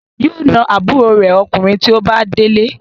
Yóò na àbúrò rẹ̀ Ọkùnrin tí ó bá délé.